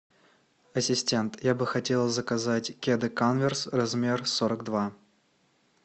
ассистент я бы хотел заказать кеды канверс размер сорок два